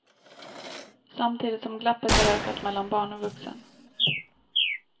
Samtidigt som glappet har ökat mellan barn och vuxen.